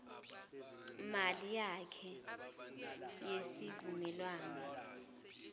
mali yakhe yesivumelwano